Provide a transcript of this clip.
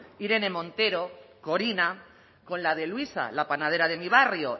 irene montero corina con la de luisa la panadera de mi barrio